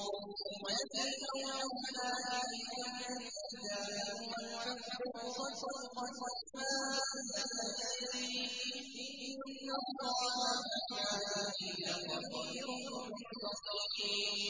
وَالَّذِي أَوْحَيْنَا إِلَيْكَ مِنَ الْكِتَابِ هُوَ الْحَقُّ مُصَدِّقًا لِّمَا بَيْنَ يَدَيْهِ ۗ إِنَّ اللَّهَ بِعِبَادِهِ لَخَبِيرٌ بَصِيرٌ